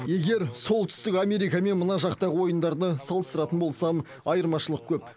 егер солтүстік америка мен мына жақтағы ойындарды салыстыратын болсам айырмашылық көп